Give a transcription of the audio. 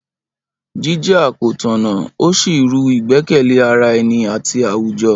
Jíjà kò tọ̀nà ó sì rú ìgbẹ́kẹ̀lé ara ẹni àti àwùjọ.